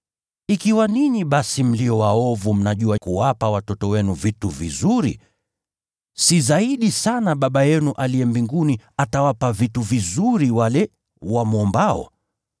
Ikiwa ninyi basi mlio waovu mnajua kuwapa watoto wenu vitu vizuri, si zaidi sana Baba yenu aliye mbinguni atawapa vitu vizuri wale wamwombao?